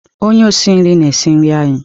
Onye osi nri na-esi nri anyị.